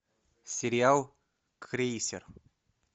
сериал крейсер